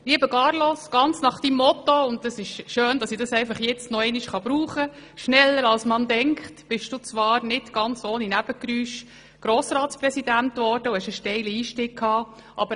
Lieber Carlos, ganz nach deinem Motto – und es ist schön, kann ich dieses jetzt noch einmal verwenden – «schneller als man denkt» bist du zwar nicht ganz ohne Nebengeräusche Grossratspräsident geworden und hattest einen steilen Einstieg.